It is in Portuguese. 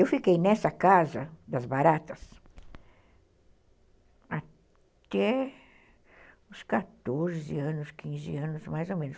Eu fiquei nessa casa das Baratas até uns quatorze anos, quinze anos, mais ou menos.